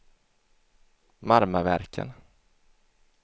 Marmaverken